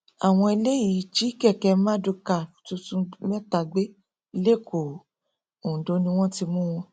àwọn eléyìí jí kẹkẹ mardukà tuntun mẹta gbé lẹkọọ ondo ni wọn ti mú wọn